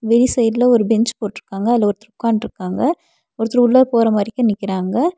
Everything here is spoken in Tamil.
வெளி சைடுல ஒரு பெஞ்ச் போட்ருக்காங்க. அதுல ஒருத்தர உக்காந்ட்ருக்காங்க. ஒருத்தர் உள்ளற போறவரைக்கு நிக்றாங்க.